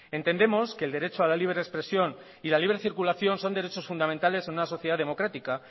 entendemos que el derecho a la libre expresión y a la libre circulación son derechos fundamentales en una sociedad democrática